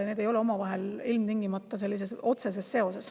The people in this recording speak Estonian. Need ei ole ilmtingimata omavahel otseses seoses.